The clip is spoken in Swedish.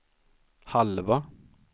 halva